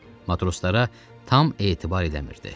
Matroslara tam etibar edə bilmirdi.